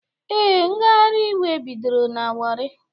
Ee, ngagharị iwe bidoro na Warri